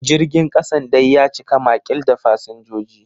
Jirgin kasan dai ya cika makil da fasinjoji.